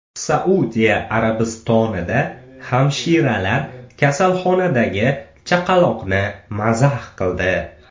Saudiya Arabistonida hamshiralar kasalxonadagi chaqaloqni mazax qildi .